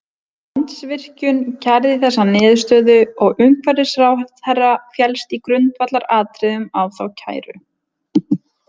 Landsvirkjun kærði þessa niðurstöðu og umhverfisráðherra féllst í grundvallaratriðum á þá kæru.